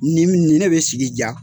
Nin nin de bɛ sigi diya.